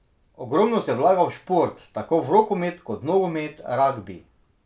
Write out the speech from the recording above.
Ogromno se vlaga v šport, tako v rokomet kot nogomet, ragbi ...